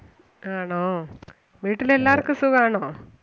ആണോ വീട്ടില് എല്ലാർക്കും സുഖാണോ?